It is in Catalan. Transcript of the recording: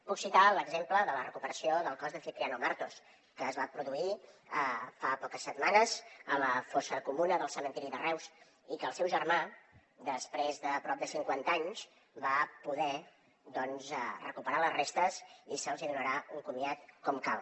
puc citar l’exemple de la recuperació del cos de cipriano martos que es va produir fa poques setmanes a la fossa comuna del cementiri de reus i que el seu germà després de prop de cinquanta anys va poder recuperar ne les restes i se’ls hi donarà un comiat com cal